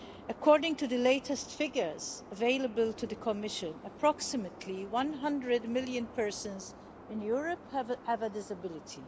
According to the latest figures available to the Commission, approximately 100 million persons in Europe have a disability.